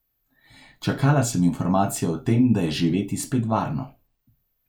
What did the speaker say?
Čakala sem informacijo o tem, da je živeti spet varno.